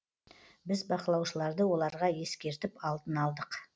біз бақылаушыларды оларға ескертіп алдын алдық